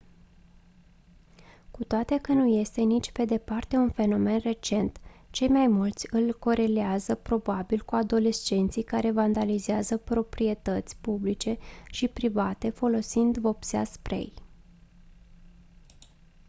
cu toate că nu este nici pe departe un fenomen recent cei mai mulți îl corelează probabil cu adolescenții care vandalizează proprietăți publice și private folosind vopsea spray